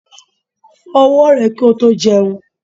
Fó owó rè ki o tó jeun